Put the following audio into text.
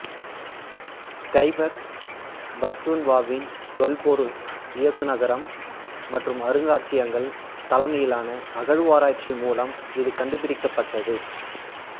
கைபர் பக்துன்க்வாவின் தொல்பொருள் இயக்குநரகம் மற்றும் அருங்காட்சியகங்கள் தலைமையிலான அகழ்வாராய்ச்சி மூலம் இது கண்டுபிடிக்கப்பட்டது